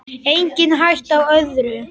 Engin hætta á öðru!